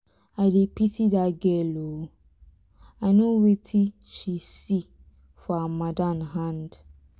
i dey pity dat girl ooo i know wetin she see for her madam hand.